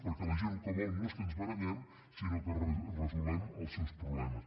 perquè la gent el que vol no és que ens barallem sinó que resolem els seus problemes